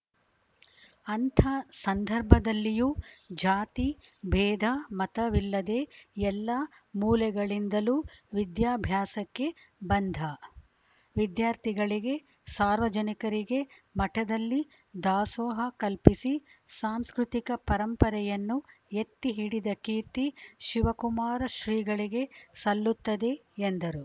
ಅಂಥ ಸಂದರ್ಭದಲ್ಲಿಯೂ ಜಾತಿ ಬೇಧ ಮತವಿಲ್ಲದೆ ಎಲ್ಲಾ ಮೂಲೆಗಳಿಂದಲೂ ವಿದ್ಯಾಭ್ಯಾಸಕ್ಕೆ ಬಂದ ವಿದ್ಯಾರ್ಥಿಗಳಿಗೆ ಸಾರ್ವಜನಿಕರಿಗೆ ಮಠದಲ್ಲಿ ದಾಸೋಹ ಕಲ್ಪಿಸಿ ಸಾಂಸ್ಕೃತಿಕ ಪರಂಪರೆಯನ್ನು ಎತ್ತಿ ಹಿಡಿದ ಕೀರ್ತಿ ಶಿವಕುಮಾರ ಶ್ರೀಗಳಿಗೆ ಸಲ್ಲುತ್ತದೆ ಎಂದರು